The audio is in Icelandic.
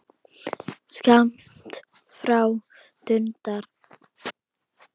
Skammt frá dundar